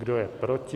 Kdo je proti?